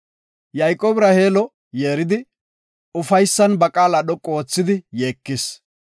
Yayqoobi Raheelo yeeridi, ufaysan ba qaala dhoqu oothidi yeekis.